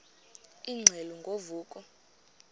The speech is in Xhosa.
ingxelo ngo vuko